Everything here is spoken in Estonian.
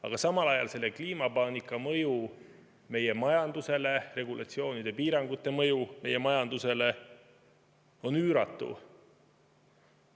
Aga samal ajal selle kliimapaanika mõju meie majandusele, regulatsioonide ja piirangute mõju meie majandusele on üüratu.